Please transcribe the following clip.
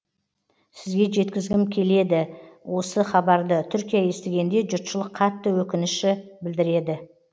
сізге жеткізгім келеде осы хабарды түркия естігенде жұртшылық қатты өкініші білдіреді